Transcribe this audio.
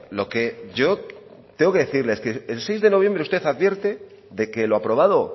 lo que yo tengo que decirles que el seis de noviembre usted advierte de que lo aprobado